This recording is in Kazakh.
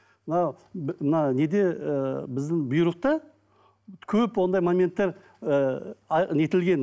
мынау мына неде ыыы біздің бұйрықта көп ондай моменттер ыыы нетілген